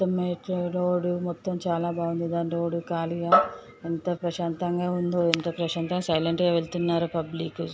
మెట్లు రోడ్ చాల బాగుంది. కానీ రోడ్ చాలా కలిగే ఎంత ప్రశాంతంగ అందో ఎంత ప్రశాంతం సైలెంట్ గ వెళ్తున్నారో పబ్లిక్ .